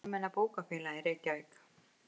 Almenna bókafélagið, Reykjavík.